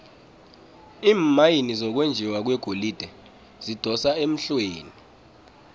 iimayini zokwenjiwa kwegolide zidosa emhlweni